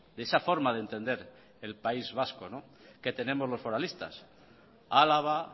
de esa forma de entender el país vasco que tenemos los foralistas álava